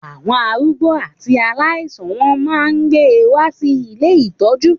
Àwọn arúgbó àti aláìsàn wọ́n máa gbé wá sí ilé ìtọ́jú.